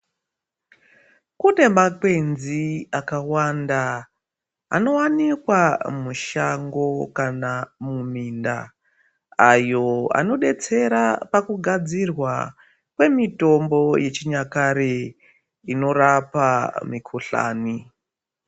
Kune makwenzi akawanda anowanikwa mushango kana muminda ayo anodetsera pakugadzirwa kwemitombo yechinyakare inorapa mikuhlani.